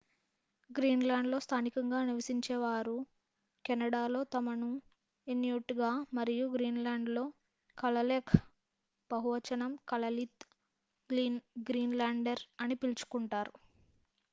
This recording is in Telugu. గ్రీన్‌లాండ్‌లో‌ స్థానికంగా నివసించే వారు కెనడాలో తమను inuitగా మరియు గ్రీన్‌లాండ్‌లో kalaalleq బహువచనం kalaallit greenlander అని పిలుచుకొంటారు